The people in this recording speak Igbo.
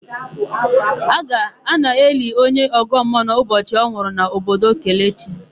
A na-eli onye ọgọmmuọ n'ụbọchị ọ nwụrụ n'obodo Kelechi ha.